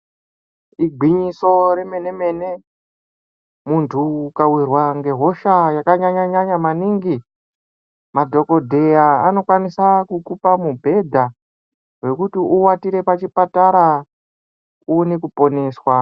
Igwinyiso re mene mene muntu uka wirwa nge hosha yaka nyanya nyanya maningi madhokodheya anokwanisa kukupa mu bhedha wekuti uwatire pa chipatara uone ku poneswa.